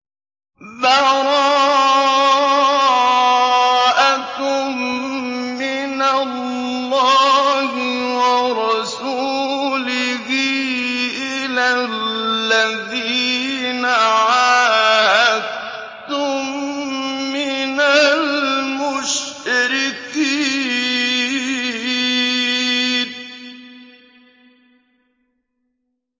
بَرَاءَةٌ مِّنَ اللَّهِ وَرَسُولِهِ إِلَى الَّذِينَ عَاهَدتُّم مِّنَ الْمُشْرِكِينَ